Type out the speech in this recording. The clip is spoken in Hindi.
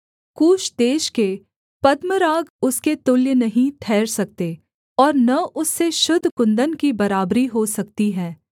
कूश देश के पद्मराग उसके तुल्य नहीं ठहर सकते और न उससे शुद्ध कुन्दन की बराबरी हो सकती है